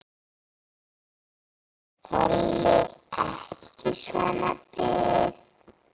Þoli ekki svona bið.